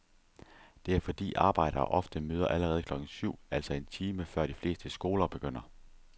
Det er fordi arbejdere ofte møder allerede klokken syv, altså en time før de fleste skoler begynder.